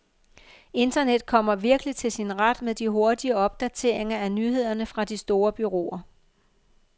Internet kommer virkelig til sin ret med de hurtige opdateringer af nyhederne fra de store bureauer.